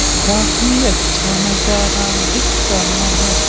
काफी अच्छा नजारा दिख रहा है।